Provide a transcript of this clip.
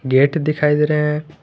Gate दिखाई दे रहे हैं।